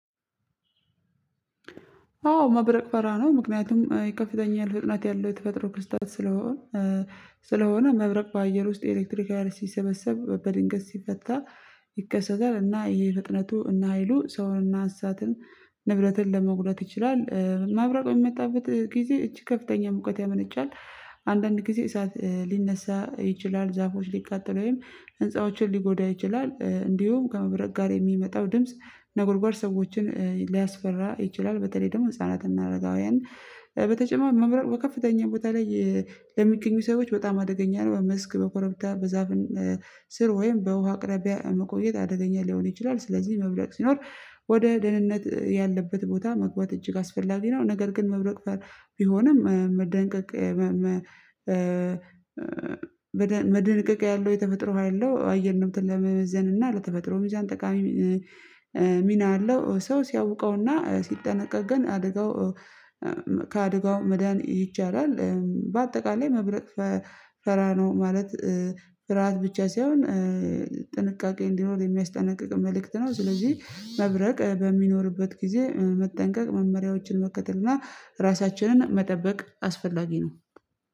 አዎ መብረቅ እፈራለሁ ነው። ምክንያቱም ይከፍተኛል ፍጥነት ያለው የተፈጥሮ ክስተት ስለሆነ ስለሆነ መብረቅ በአየር ውስጥ ኤሌክትሪክ ሀይል ሲሰበሰብ በድንገት ሲፈታ ይከሰታል። እና ይሄ ፍጥነቱ እና ሀይሉ ሰውን እና አንሳትን ንብረትን ለመጉደት ይችላል። መብረቅ በሚመጣበት ጊዜ እጂግ ከፍተኛ ሙቀት ያመነጫል። አንዳንድ ጊዜ እሳት ሊነሳ ይችላል ዛፎች ሊቃጠል ወይም ህንፃዎችን ሊጎዳ ይችላል። እንዲሁም ከመብረቅ ጋር የሚመጣው ድምጽ ነጎድጓድ ሰዎችን ሊያስፈራ ይችላል። በተለይ ደግሞ ህፃናትና አረጋውያንን በተጨማሪ መብረቅ በከፍተኛ ቦታ ላይ ለሚገኙ ሰዎች በጣም አደገኛ ነው። በመስክ በኮረብታ በዛፍን ስር ወይም በውሃ አቅራቢያ መቆየት አደገኛ ሊሆን ይችላል። ስለዚህ መብረቅ ሲኖር ወደ ደህንነት ያለበት ቦታ መግባት እጅግ አስፈላጊ ነው። ነገር ግን መብረቅ ቢሆንም መጠንቀቅ መደንቀቅ መደንቀቅ ያለው የተፈጥሮ ያለው አየር ነው ለመመዘን እና ለተፈጥሮ ሚዛን ጠቃሚ ሚና አለው ሰው ሲያውቀው እና ሲጠነቀቅ ግን አደጋው ከአደጋው መዳን ይቻላል። በአጠቃላይ መብረቅ ፈራ ነው ማለት ፍርሃት ብቻ ሳይሆን ጥንቃቄ እንዲኖር የሚያስጠነቅቅ መልእክት ነው። ስለዚህ መብረቅ በሚኖርበት ጊዜ መጠንቀቅ መመሪያዎችን መከተል እና ራሳችንን መጠበቅ አስፈላጊ ነው።